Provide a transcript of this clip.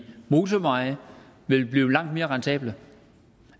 motorveje vil blive langt mere rentable